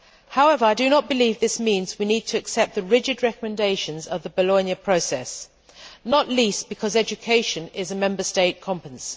However, I do not believe this means we need to accept the rigid recommendations of the Bologna Process, not least because education is a Member State competence.